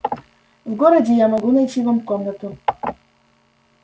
в городе я могу найти вам комнату